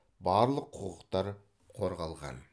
барлық құқықтар қорғалған